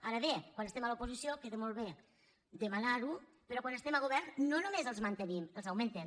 ara bé quan es·tem a l’oposició queda molt bé demanar·ho però quan estem al govern no només els mantenim els augmen·tem